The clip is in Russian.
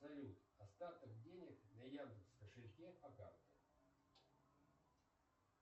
салют остаток денег на яндекс кошельке по карте